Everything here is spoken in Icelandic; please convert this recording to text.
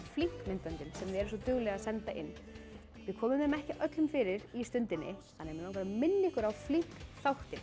flink myndböndin sem þið eruð svo duglega að senda inn við komum þeim ekki öllum fyrir í Stundinni þannig að mig langar að minna ykkur á flink þáttinn